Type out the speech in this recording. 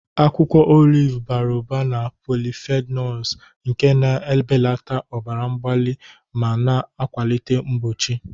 Akwụkwọ oliv bara ụba na polyphenols nke na-ebelata ọbara mgbali ma na-akwalite mgbochi.